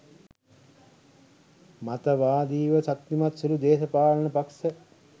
මතවාදිව ශක්තිමත් සුළු දේශපාලන පක්‍ෂ